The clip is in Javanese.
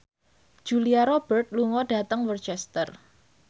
Julia Robert lunga dhateng Worcester